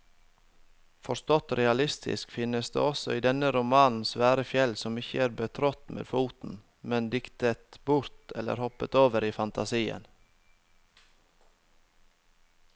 Forstått realistisk finnes det i denne romanen svære fjell som ikke er betrådt med foten, men diktet bort eller hoppet over i fantasien.